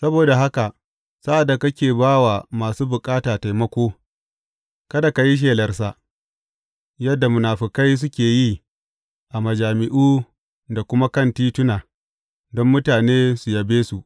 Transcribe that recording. Saboda haka sa’ad da kake ba wa masu bukata taimako, kada ka yi shelarsa, yadda munafukai suke yi a majami’u da kuma kan tituna, don mutane su yabe su.